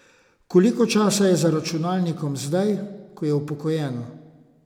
Koliko časa je za računalnikom zdaj, ko je upokojen?